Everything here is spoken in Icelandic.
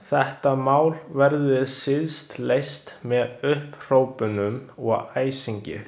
Þetta mál verði síst leyst með upphrópunum og æsingi.